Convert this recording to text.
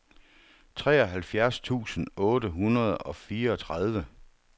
treoghalvfjerds tusind otte hundrede og fireogtredive